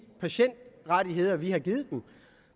patientrettigheder vi har givet